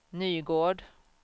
Nygård